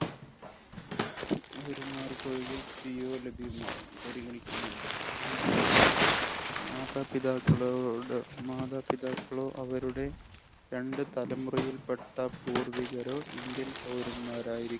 പൗരന്മാര്‍ക്ക് ഒഴികെ ലഭ്യമാകും. പരിഗണിക്കുന്നുണ്ട്. മാതാപിതാക്കളോടോ, മാതാപിതാക്കളോ അവരുടെ രണ്ടുതലമുറയിൽപെട്ട പൂർവികരോ, Indian പൗരന്മാർ ആയിരി